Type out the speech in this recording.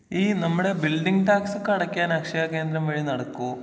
ഈ നമ്മടെ ബിൽഡിംഗ് ടാക്സൊക്കെ അടക്കാൻ അക്ഷയ കേന്ദ്രം വഴി നടക്കോ.